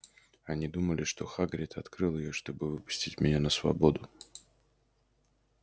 они думали что хагрид открыл её чтобы выпустить меня на свободу